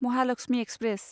Mahalakshmi express